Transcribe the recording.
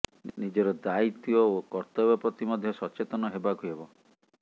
ନିଜର ଦାୟିତ୍ବ ଓ କର୍ତ୍ତବ୍ୟ ପ୍ରତି ମଧ୍ୟ ସଚେତନ ହେବାକୁ ହେବ